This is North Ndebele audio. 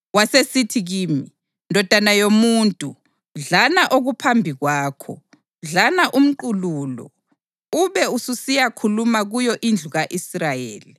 Wasesithi kimi, “Ndodana yomuntu, dlana okuphambi kwakho, dlana umqulu lo; ube ususiyakhuluma kuyo indlu ka-Israyeli.”